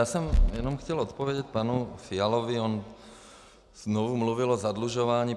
Já jsem jenom chtěl odpovědět panu Fialovi, on znovu mluvil o zadlužování.